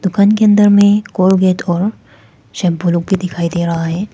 दुकान के अंदर में कोलगेट और शैंपू लोग भी दिखाई दे रहा है।